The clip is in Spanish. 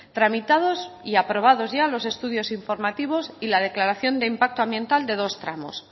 tramitados y aprobados ya los estudios informativos y la declaración de impacto ambiental de dos tramos